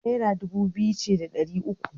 Naira dubu biyu ce da ɗari uku.